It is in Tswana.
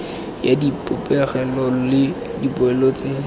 ya dipegelo le dipoelo tse